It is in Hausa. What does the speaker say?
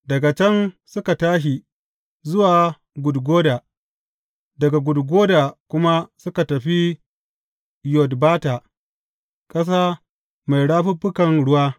Daga can suka tashi zuwa Gudgoda, daga Gudgoda kuma suka tafi Yotbata, ƙasa mai rafuffukan ruwa.